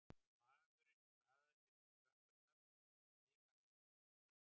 Maðurinn hraðaði sér niður tröppurnar og skimaði í kringum sig